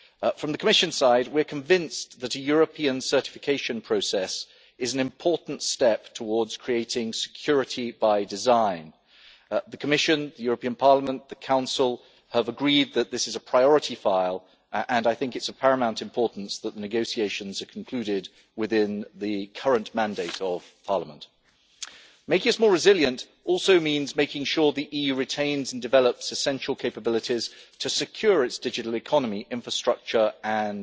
From the Commission side, we are convinced that a European certification process is an important step towards creating security by design. The Commission, the European Parliament and the Council have agreed that this is a priority file and it is of paramount importance that negotiations are concluded within the current mandate of Parliament. Making us more resilient also means making sure the EU retains and develops essential capabilities to secure its digital economy infrastructure and